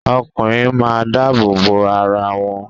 Ọkùnrin máa ń dáàbòbò arawọn